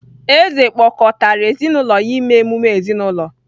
Eze kpọkọtara ezi na ụlọ ya ime emume ezinụlọ